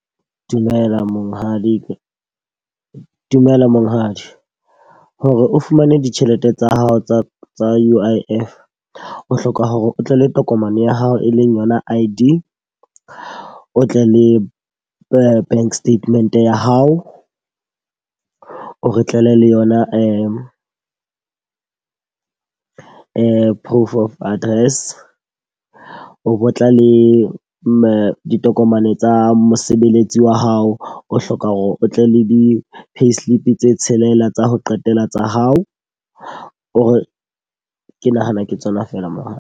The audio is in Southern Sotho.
Dumela monghadi. Ke dumela monghadi, hore o fumane ditjhelete tsa hao tsa tsa U_I_F o hloka hore o tle le tokomane ya hao e leng yona I_D. O tle le bank statement ya hao. O re tlela le yona proof of address. O bo tla le ditokomane tsa mosebeletsi wa hao, o hloka hore o tle le di-payslip tse tshelela tsa ho qetela tsa hao. O re ke nahana ke tsona feela .